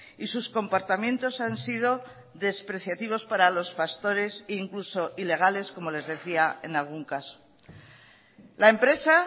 y sus comportamientos han sido despreciativos para los pastores e incluso ilegales como les decía en algún caso la empresa